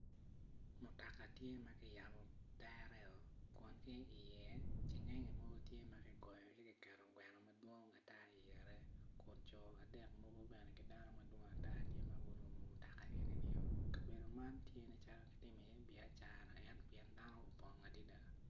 Mutoka tye maki yabo tere o kun tye i ye cengenge mo maki goyo gi kiketo gweno mogo madwong ata i ngete kun co adek mogo bene gineno madwong atar kineno magurumo mutoka enini o kabedo man tye nen calo kitimo i ye biacara ento tye dano opong adada.